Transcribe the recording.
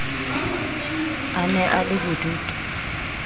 a ne a le bodutu